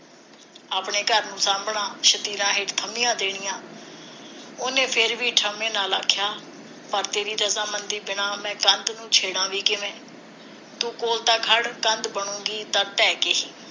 ਆਪਣੇ ਘਰ ਨੂੰ ਸਾਂਭਣਾ ਸ਼ਤੀਰਾਂ ਹੇਠ ਥੰਬੀਆਂ ਦੇਣੀਆਂ ਉਹਨੇ ਫਿਰ ਵੀ ਠਰੰਮੇ ਨਾਲ ਆਖਿਆ ਪਰ ਤੇਰੀ ਰਜਾਮੰਦੀ ਬਿਨਾਂ ਮੈਂ ਕੰਧ ਨੂੰ ਵੀ ਕਿਵੇ ਤੂੰ ਕੋਲ ਤਾਂ ਖੜ ਕੰਧ ਬਣੂਗੀ ਤਾਂ ਢਹਿ ਕੇ ਹੀ